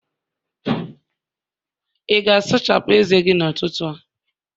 ị ga-asachapụ ezé gị n'ụtụtụ a?